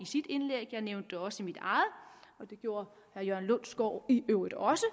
sit indlæg jeg nævnte det også i mit eget og det gjorde herre jørgen lundsgaard i øvrigt også